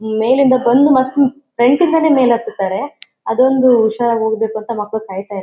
ಮೇಲಿಂದ ಬಂದ್ ಮತ್ತ ಫ್ರಂಟ್ ಯಿಂದ ಮೇಲೆ ಹತ್ತತಾಳೆ ಅದೊಂದು ಹುಷಾರ ಹೋಗಬೇಕಂತ್ತಾ ಮಕ್ಕಳನಾ ಕಾಯತ್ತಾ --